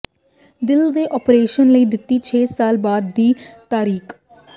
ਦਿੱਲ ਦੇ ਆਪਰੇਸ਼ਨ ਲਈ ਦਿੱਤੀ ਛੇ ਸਾਲ ਬਾਅਦ ਦੀ ਤਾਰੀਕ